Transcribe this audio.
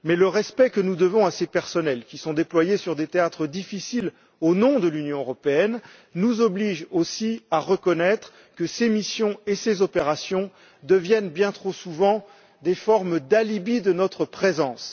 Mais le respect que nous devons à ces personnels, qui sont déployés sur des théâtres difficiles au nom de l'Union européenne, nous oblige aussi à reconnaître que ces missions et ces opérations deviennent, bien trop souvent, des formes d'alibi de notre présence.